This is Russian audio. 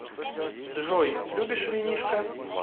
джой любишь винишко